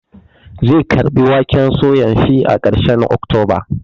Zai girbi waken suyan shi a karshen oktoba